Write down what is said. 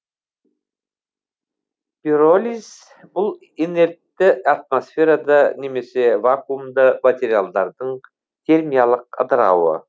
пиролиз бұл инертті атмосферада немесе вакуумда материалдардың термиялық ыдырауы